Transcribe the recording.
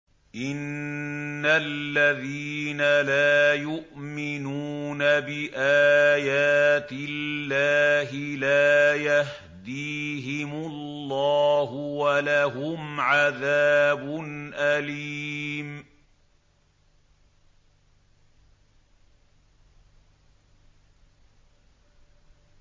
إِنَّ الَّذِينَ لَا يُؤْمِنُونَ بِآيَاتِ اللَّهِ لَا يَهْدِيهِمُ اللَّهُ وَلَهُمْ عَذَابٌ أَلِيمٌ